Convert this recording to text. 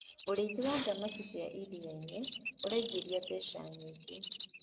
ũrĩithi wa thamakĩ cia iria-inĩ uraingiria mbeca nyingi